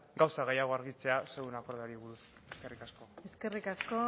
gauza gehiago argitzea zuen akordioari buruz eskerrik asko eskerrik asko